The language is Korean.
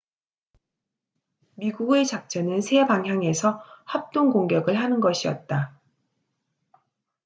미국의 작전은 세 방향에서 합동 공격을 하는 것이었다